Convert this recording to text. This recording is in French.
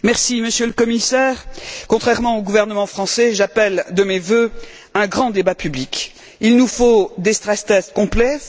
Madame la Présidente, Monsieur le Commissaire, contrairement au gouvernement français, j'appelle de mes vœux un grand débat public. Il nous faut des stress tests complets.